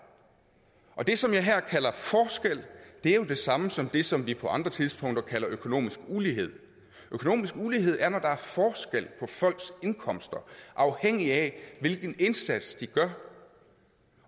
og det som jeg her kalder forskel er jo det samme som det som vi på andre tidspunkter kalder økonomisk ulighed økonomisk ulighed er når der er forskel folks indkomster afhængigt af hvilken indsats de gør